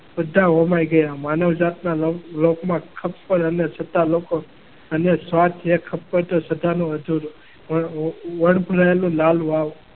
બધા હોમાઈ ગયા માનવજાતના લોકમાં કપડછતા લોકો અને સ્વાર્થ એ